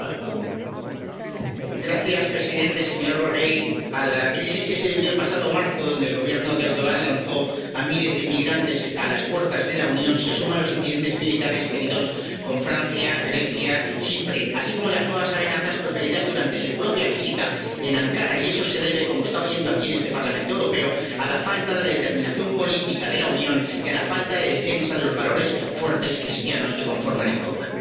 Señor presidente, señor Borrell, a la crisis que se vivió el pasado marzo, donde el Gobierno de Erdogan lanzó a miles de inmigrantes a las puertas de la Unión, se suman los incidentes militares tenidos con Francia, Grecia y Chipre, así como las nuevas amenazas proferidas durante su propia visita en Ankara. Y eso se debe, como está oyendo aquí en este Parlamento Europeo, a la falta de determinación política de la Unión y a la falta de defensa de los valores fuertes, cristianos, que conforman Europa.